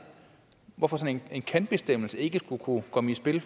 hvorfor sådan en kan bestemmelse ikke skulle kunne komme i spil